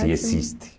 Se existe.